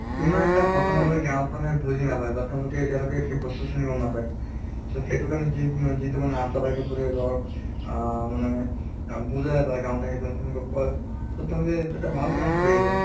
ইমান এটা বৰ্তমানলৈ গাঁৱত মানে বুজি নাপায়। তেওঁলোকে এতিয়ালৈকে সেই বস্তু খিনি গম নাপায়। so সেইটো কাৰণে যি যিটো মানে ASHA বাইদেউবোৰে ধৰক আহ মানে বিজায় বা গাঁৱত আহি পেলে তেনুকা কয়। তʼ তেওঁলোকে এটা ভাল কাম কৰি আছে।